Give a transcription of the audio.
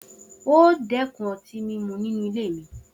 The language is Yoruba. O óò dé̩kun o̩tí mímu nínú ilé mi!